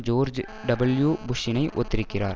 George W புஷ்ஷினை ஒத்திருக்கிறார்